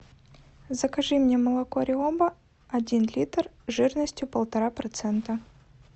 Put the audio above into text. закажи мне молоко риоба один литр жирностью полтора процента